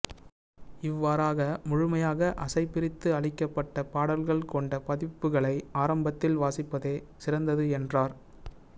இவ்வாறாக முழுமையாக அசை பிரித்து அளிக்கப்பட்ட பாடல்கள் கொண்ட பதிப்புகளை ஆரம்பத்தில் வாசிப்பதே சிறந்தது என்றார்